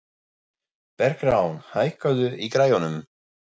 Bergrán, hækkaðu í græjunum.